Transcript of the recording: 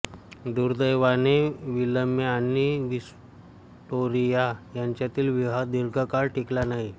दुर्दैवाने विल्यम आणि व्हिक्टोरिया यांच्यातील विवाह दीर्घकाळ टिकला नाही